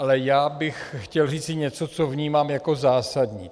Ale já bych chtěl říci něco, co vnímám jako zásadní.